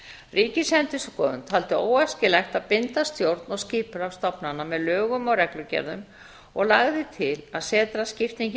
ríkisendurskoðun taldi óæskilegt að binda stjórn og skipulag stofnana með lögum og reglugerðum og lagði til að setraskiptingin yrði lögð